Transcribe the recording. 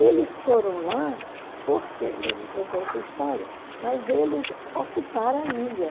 Eles foram lá porque, eu não contei essa história, mas eles ocuparam a ilha.